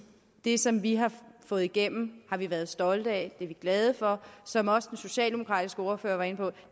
det som vi har fået igennem har vi været stolte af det er vi glade for som også den socialdemokratiske ordfører var inde på